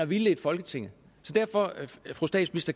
vildledt folketinget derfor